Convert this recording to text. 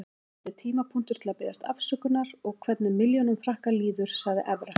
Þetta er tímapunktur til að biðjast afsökunar og hvernig milljónum Frakka líður, sagði Evra.